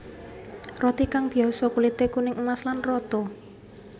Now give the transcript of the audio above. Roti kang biyasa kulité kuning emas lan rata